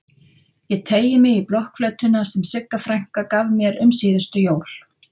Ég teygi mig í blokkflautuna sem Sigga frænka gaf mér um síðustu jól.